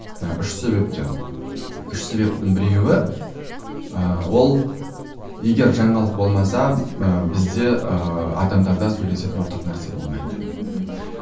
үш себептен үш себептің біреуі ыыы ол егер жаңалық болмаса ы бізде ы адамдардарда сөйлесетін ортақ нәрсе болмайды мхм